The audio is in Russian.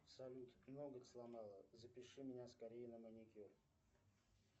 салют ноготь сломала запиши меня скорее на маникюр